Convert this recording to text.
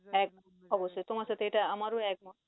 একদম, অবশ্যই তোমার সাথে এটা আমারও একমত।